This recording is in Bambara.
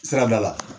Sirabida la